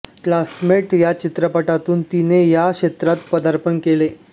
classmate या चित्रपटातून तिने या क्षेत्रात पदार्पण केले